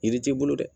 Yiri t'i bolo dɛ